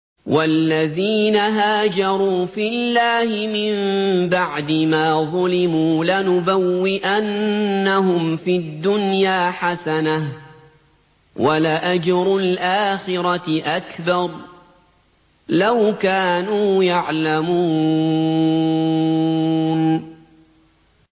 وَالَّذِينَ هَاجَرُوا فِي اللَّهِ مِن بَعْدِ مَا ظُلِمُوا لَنُبَوِّئَنَّهُمْ فِي الدُّنْيَا حَسَنَةً ۖ وَلَأَجْرُ الْآخِرَةِ أَكْبَرُ ۚ لَوْ كَانُوا يَعْلَمُونَ